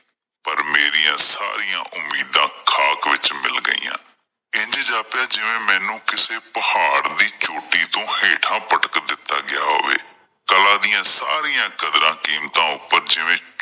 ਪਰ ਮੇਰੀਆਂ ਸਾਰੀਆਂ ਉਮੀਦਾਂ ਖਾਕ ਵਿੱਚ ਮਿਲ ਗਈਆਂ ਇੰਝ ਜਾਪਿਆ ਜਿਵੇਂ ਮੈਨੂੰ ਕਿਸੇ ਪਹਾੜ ਦੀ ਚੋਟੀ ਤੋਂ ਹੇਠਾਂ ਪਟਕ ਦਿੱਤਾ ਗਿਆ ਹੋਵੇ ਕਲਾ ਦੀਆਂ ਸਾਰੀਆਂ ਕਦਰਾਂ ਕੀਮਤਾਂ ਉੱਪਰ ਜਿਵੇਂ